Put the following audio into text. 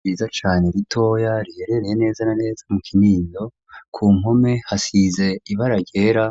Ryiza cane ritoya riherereye neza na neza mu Kinindo ku mpome hasize ibara ryera